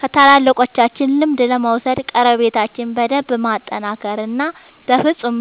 ከታላላቆቻችን ልምድ ለመውሰድ ቀረቤታችን በደንብ ማጠናከር እና በፍፁም